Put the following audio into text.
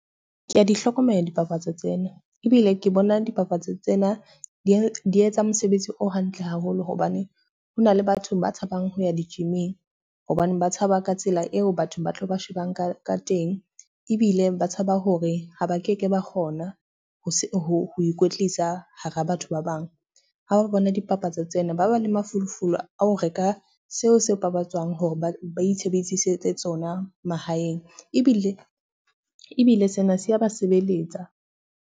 Ke a di hlokomela dipapatso tsena, ebile ke bona dipapatso tsena di etsa mosebetsi o hantle haholo. Hobane hona le batho ba tshabang ho ya di-gym-ing hobaneng ba tshaba ka tsela eo batho ba tlo ba shebang ka teng, ebile ba tshaba hore ha ba keke ba kgona ho ikwetlisa hara batho ba bang. Ha ba bona dipapatso tsena, ba ba le mafolofolo a ho reka seo se babatswang hore ba itshebedisetse tsona mahaeng. Ebile sena se ya ba sebeletsa.